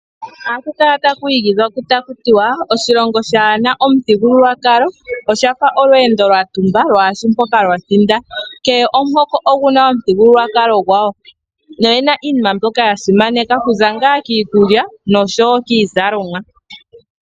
Ohaku kala taku igidhwa taku tiwa: "Oshilongo shaa na omuthigululwakalo osha fa olweendo lwa tumba lwaashi mpoka lwa thinda." Kehe omuhoko ogu na omuthigululwakalo gwasho noye na iinima mbyoka ya simaneka okuza ngaa kiikulya noshowo kiizalomwa.